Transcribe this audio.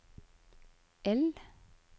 L